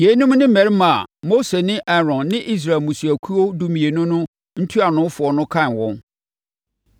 Yeinom ne mmarima a Mose ne Aaron ne Israel mmusuakuo dumienu no ntuanofoɔ kan wɔn.